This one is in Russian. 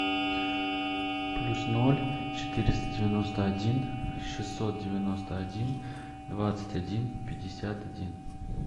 плюс ноль четыреста девяносто один шестьсот девяносто один двадцать один пятьдесят один